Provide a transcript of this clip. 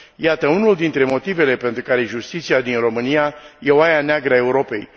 Iată unul dintre motivele pentru care justiția din România este oaia neagră a Europei.